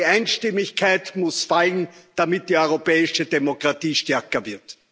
Die Einstimmigkeit muss fallen, damit die europäische Demokratie stärker wird.